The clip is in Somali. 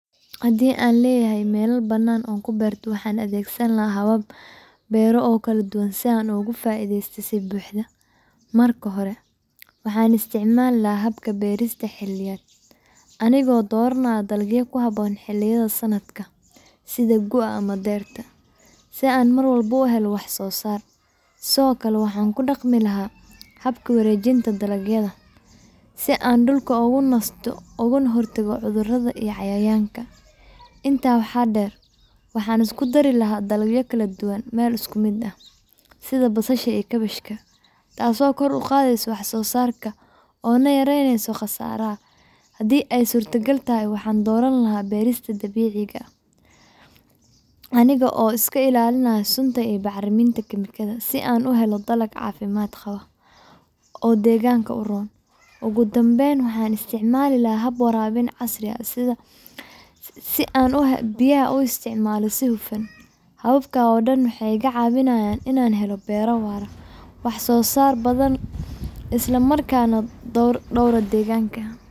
Haddii aan lahaa meel bannaan oo aan ku beerto, waxaan adeegsan lahaa habab beero oo kala duwan si aan uga faa’iideysto si buuxda. Marka hore, waxaan isticmaali lahaa habka beerista xilliyeed, anigoo dooranaya dalagyo ku habboon xilliyada sanadka sida gu’ga ama dayrta, si aan mar walba u helo wax-soosaar. Sidoo kale, waxaan ku dhaqmi lahaa habka wareejinta dalagyada (crop rotation), si aan dhulka u nasto ugana hortago cudurrada iyo cayayaanka. Intaa waxaa dheer, waxaan isku dari lahaa dalagyo kala duwan meel isku mid ah (intercropping), sida basasha iyo kaabash, taasoo kor u qaadaysa wax-soosaarka oo yareyneysa khasaaraha. Haddii ay suuragal tahay, waxaan dooran lahaa beerista dabiiciga ah, anigoo iska ilaalinaya sunta iyo bacriminta kiimikada, si aan u helo dalag caafimaad qaba oo deegaanka u roon. Ugu dambayn, waxaan isticmaali lahaa hab waraabin casri ah sida drip irrigation si aan biyaha ugu isticmaalo si hufan. Hababkan oo dhan waxay iga caawinayaan inaan helo beero waara, wax-soosaar badan leh, isla markaana dhowra deegaanka.